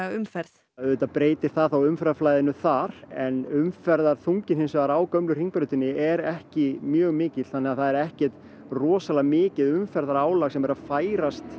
umferð auðvitað breytir það þá umferðarflæðinu þar en umferðarþunginn á gömlu Hringbrautinni er ekki mjög mikill þannig það er ekkert rosalega mikið umferðarálag sem er að færast